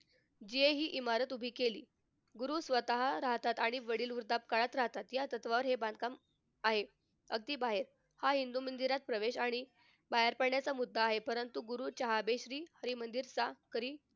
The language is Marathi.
जे हि इमारत उभी केली. गुरु स्वतः राहतात आणि वडील वृद्धापकाळात राहतात. या तत्वावर हे बांधकाम आहे अगदी बाहेर. ह्या हिंदू मंदिरात प्रवेश आणि पाय पडण्याचा मुद्दा आहे. परंतु गुरु श्री मंदिरचा